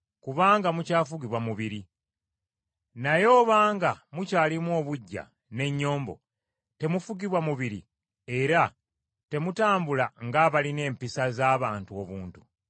kubanga mukyafugibwa mubiri. Naye obanga mukyalimu obuggya n’ennyombo, temufugibwa mubiri era temutambula ng’abalina empisa z’abantu obuntu?